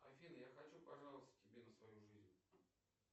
афина я хочу пожаловаться тебе на свою жизнь